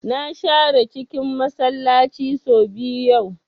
Na share cikin Masallaci sau biyu yau